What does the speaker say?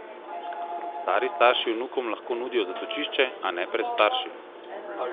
Stari starši vnukom lahko nudijo zatočišče, a ne pred starši!